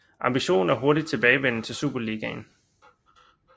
Ambitionen er hurtig tilbagevenden til Superligaen